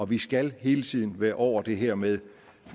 vi skal hele tiden være over det her med